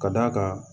Ka d'a kan